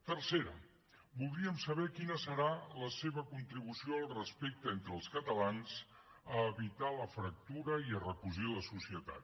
tercera voldríem saber quina serà la seva contribució al respecte entre els catalans per evitar la fractura i recosir la societat